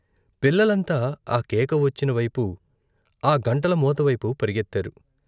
పిల్లలంతా ఆ కేక వచ్చినవైపు, ఆ గంటల మోత వైపు పరుగెత్తారు.